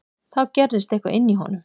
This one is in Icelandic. Þá gerðist eitthvað inní honum.